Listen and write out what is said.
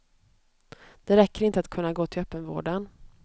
Det räcker inte att kunna gå till öppenvården.